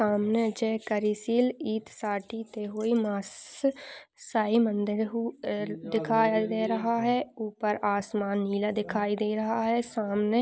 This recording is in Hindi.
सामने जय कर्सिल ऊपर आसमान नीला दिखाई दे रहा है सामने --